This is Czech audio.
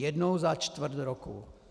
Jednou za čtvrt roku.